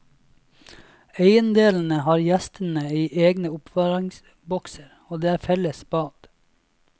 Eiendelene har gjestene i egne oppbevaringsbokser, og det er felles bad.